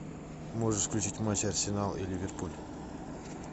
можешь включить матч арсенал и ливерпуль